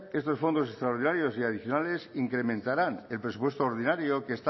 estos fondos extraordinarios y adicionales incrementarán el presupuesto ordinario que